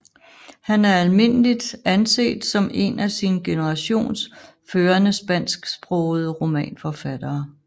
Han er almindeligt anset som en af sin generations førende spansksprogede romanforfattere